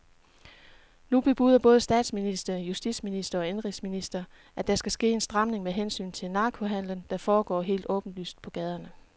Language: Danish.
Nu bebuder både statsminister, justitsminister og indenrigsminister, at der skal ske en stramning med hensyn til narkohandelen, der foregår helt åbenlyst på gaderne.